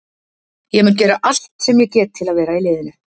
Ég mun gera allt sem ég get til að vera í liðinu.